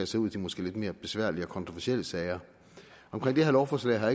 sig ud i de måske lidt mere besværlige og kontroversielle sager omkring det her lovforslag har